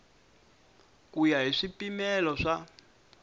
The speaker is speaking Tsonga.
ku ya hi swipimelo swa